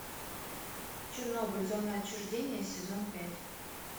чернобыль зона отчуждения сезон пять